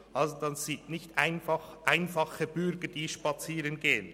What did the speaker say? Das sind also nicht einfach einfache Bürger, die spazieren gehen.